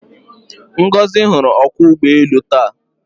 Ngozi hụrụ ọkwọụgbọelu taa.